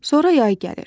Sonra yay gəlir.